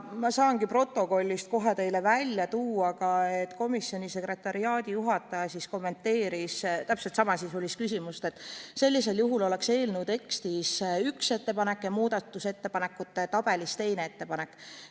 Ma saangi protokollist kohe teile välja tuua, et komisjoni sekretariaadijuhataja kommenteeris täpselt samasisulist küsimust nii, et sellisel juhul oleks eelnõu tekstis üks ettepanek ja muudatusettepanekute tabelis teine ettepanek.